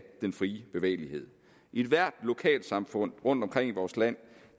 den frie bevægelighed ethvert lokalsamfund rundtomkring i vores land